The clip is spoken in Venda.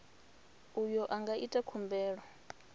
uyo a nga ita khumbelo